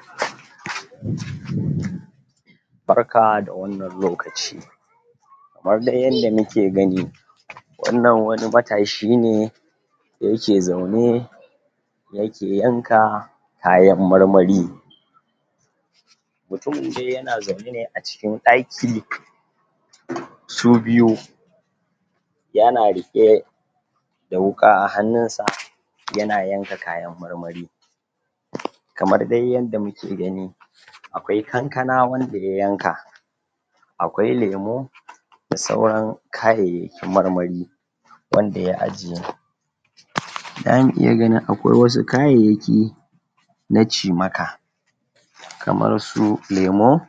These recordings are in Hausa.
??? Barka da wannan lokaci kamar dai yadda muke gani wannan wani matashi ne yake zaune yake yanka kayan marmari mutumin dai yana zaune ne a cikin ɗaki su biyu yana riƙe da wuƙa a hannunsa yana yanka kayan marmari kamar dai yadda muke gani akwai kankana wanda ya yanka akwai lemo da sauran kayayyakin marmari wanda ya ajiye? zamu iya ganin akwai wasu kayayyaki na cimaka kamar su lemo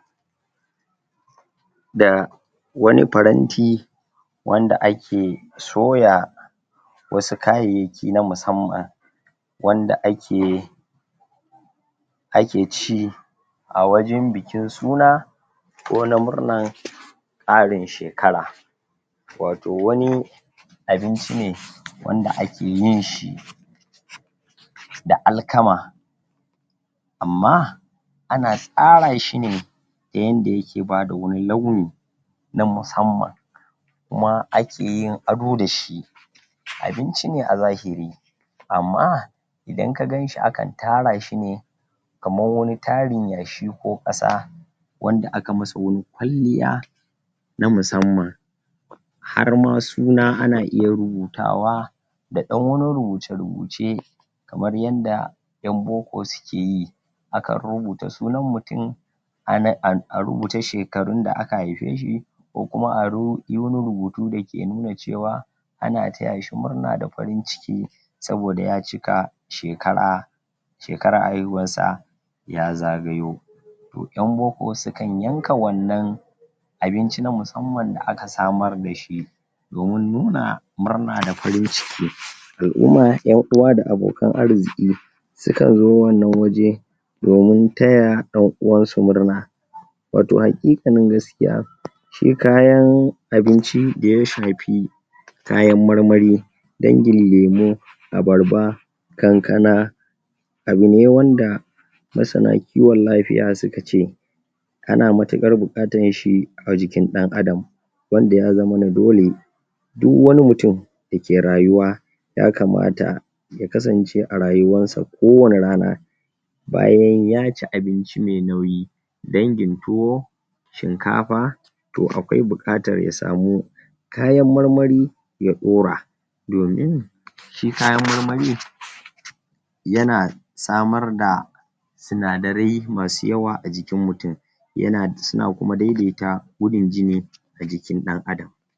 da wani faranti wanda ake soya wasu kayayyaki na musamman wanda ake ake ci a wajen bikin suna ko na murnan ƙarin shekara wato wani abinci ne wanda ake yin shi da alkama amma ana tsara shine ta yanda yake bada wani launi na musamman kuma akeyin ado dashi abinci ne a zahiri amma idan ka ganshi akan tara shine kamar wani tarin yashi ko ƙasa wanda aka masa wani kwalliya na musamman har ma suna ana iya rubutawa da ɗan wani rubuce-rubuce kamar yanda ƴan boko sukeyi akan rubuta sunan mutum ame an a rubuta shekarun da aka haife shi ko kuma a ru, ayi wani rubutu dake nuna cewa ana taya shi murna da farin ciki saboda ya cika shekara shekarar haihuwarsa ya zagayo to ƴan boko sukan yanka wannan abinci na musamman da aka samar dashi domin nuna murna da farin ciki al'uma, ƴan uwa da abokan arziƙi sukanzo wannan waje domin taya ɗan uwansu murna wato haƙiƙanin gaskiya shi kayan abinci da ya shafi kayan marmari dangin lemo abarba kankana abune wanda masana kiwon lafiya suka ce ana matuƙar buƙatan shi a jikin ɗan adam wanda ya zamana dole du wani mutum dake rayuwa ya kamata ya kasance a rayuwansa kowane rana bayan yaci abinci me nauyi dangin tuwo shinkafa to akwai buƙatar ya samu kayan marmari ya ɗora domin shi kayan marmari yana samar da sinadarai masu yawa a jikin mutum yana, suna kuma daidaita gudun jini a jikin ɗan adam